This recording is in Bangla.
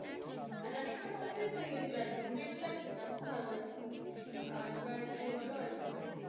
আর আগের কটা অভ্যেস হয়ে গেছিলো একদম regular খেতাম খুব ভালো লাগতো। আর এবার ইয়ে বলো অরিত্রা?